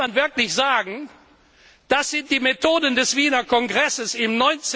Da kann man wirklich sagen Das sind die Methoden des Wiener Kongresses im